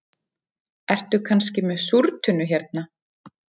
Ertu kannski með súrtunnu hérna